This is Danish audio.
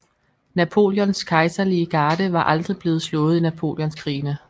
Napoleons kejserlige garde var aldrig blevet slået i Napoleonskrigene